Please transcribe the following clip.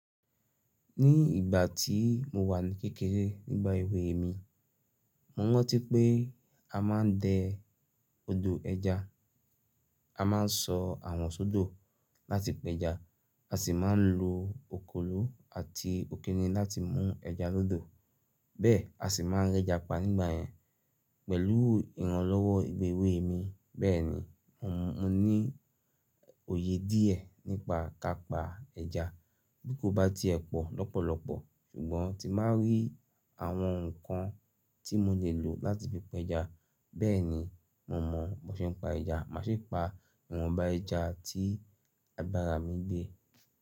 Ní ìgbà tí mo wà ní kékeré nígbà èwe mi, mo rántí pé a máa ń dẹ ọdọ ẹja, a máa ń sọ awọn sódò láti pẹ ẹja, a sì máa ń lo òkòló àti òkínní láti mú ẹja lódò. Bẹ́ẹ̀ a sì máa ń rẹja pa nígbà yẹn. Pẹ̀lú ìrànlọ́wọ́ èwe mi, bẹ́ẹ̀ni mo ní òye díẹ̀ nípa kápa ẹja. Bí kò bá ti ẹ pọ̀ lọ́pọ̀lọpọ̀, ṣùgbọ́n tí máa rí àwọn ǹkan tí mo lè lò láti fi pẹ ẹja, bẹ́ẹ̀ni mo mọ̀ bó ṣe ń pa ẹja. Màá ṣi pa ìwọ̀nba ẹja tí àgbàrá mi gbé.